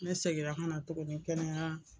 Ne seginna ka na tuguni kɛnɛya